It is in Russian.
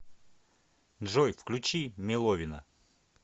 джой включи меловина